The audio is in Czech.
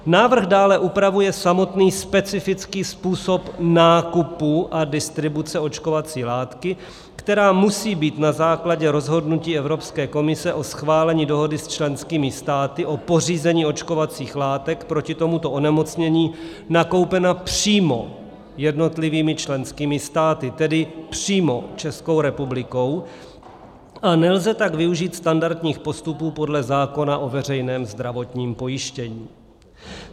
Návrh dále upravuje samotný specifický způsob nákupu a distribuce očkovací látky, která musí být na základě rozhodnutí Evropské komise o schválení dohody s členskými státy o pořízení očkovacích látek proti tomuto onemocnění nakoupena přímo jednotlivými členskými státy, tedy přímo Českou republiku, a nelze tak využít standardních postupů podle zákona o veřejném zdravotním pojištění.